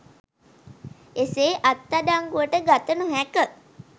එසේ අත්අඩංගුවට ගත නොහැක